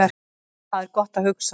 Þar er gott að hugsa